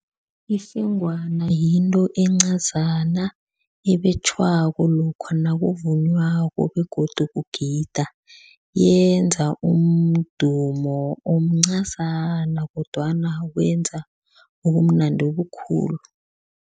Ifengwana yinto encazana, ebetjhwako lokha nakuvunywako begodu kugida. Yenza umdumo omncazana kodwana wenza ubumnandi obukhulu.